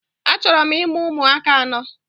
Achọrọ m imụ ụmụaka anọ